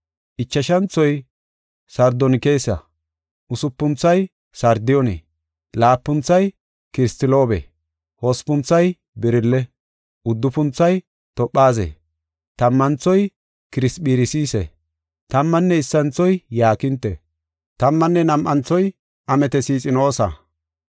ichashanthoy sardonkisa, usupunthoy sardiyoone, laapunthoy kiristiloobe, hospunthoy birille, uddufunthoy toophaze, tammanthoy kirisphiraasise, tammanne issinthoy yaakinte, tammanne nam7anthoy ametesxinoosa.